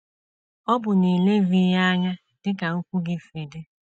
Ọ bụ n’ilezi ya anya dị ka okwu gị si dị.